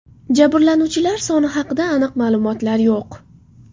Jabrlanuvchilar soni haqida aniq ma’lumotlar yo‘q.